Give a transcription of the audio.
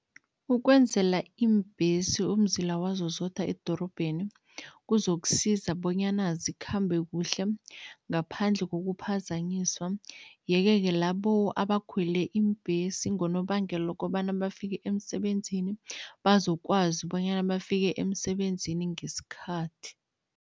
Ukwenzela iimbhesi umzila wazo zodwa edorobheni kuzokusiza bonyana zikhambe kuhle ngaphandle kokuphazanyiswa yeke-ke labo abakhwele iimbhesi ngonobangela wokobana bafike emsebenzini, bazokwazi bonyana bafike emsebenzini ngesikhathi.